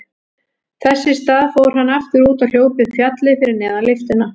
Þess í stað fór hann aftur út og hljóp upp fjallið fyrir neðan lyftuna.